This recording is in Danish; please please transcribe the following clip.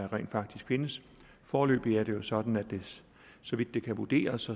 rent faktisk findes foreløbig er det jo sådan så vidt det kan vurderes